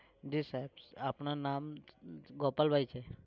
જી સાહેબ આપનું નામ ગોપાલભાઈ છે?